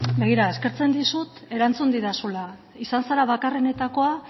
begira eskertzen dizut erantzun didazula izan zara bakarrenetakoa